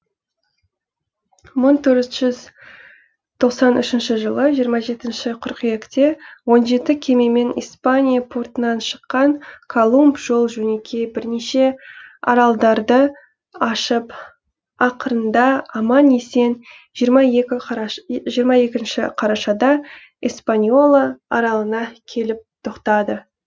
мың төрт жүз тоқсан үшінші жылы жиырма жетінші қыркүйекте он жеті кемемен испания портынан шыққан колумб жол жөнекей бірнеше аралдарды ашып ақырында аман есен жиырма екінші қарашада испаньола аралына келіп тоқтады